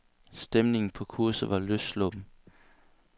Stemningen på kurset var løssluppen.